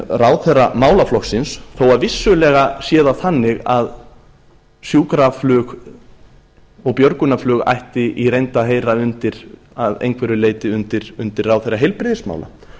ráðherra málaflokksins þó að vissulega sé það þannig að sjúkraflug og björgunarflug ætti í reynd að heyra að einhverju leyti undir ráðherra heilbrigðismála